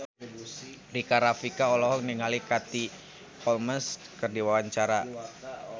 Rika Rafika olohok ningali Katie Holmes keur diwawancara